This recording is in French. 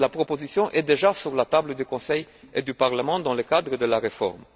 D'ailleurs, la proposition est déjà sur la table du Conseil et du Parlement dans le cadre de la réforme.